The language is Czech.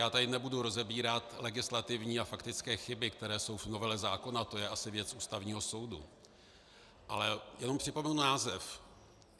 Já tady nebudu rozebírat legislativní a faktické chyby, které jsou v novele zákona, to je asi věc Ústavního soudu, ale jenom připomenu název.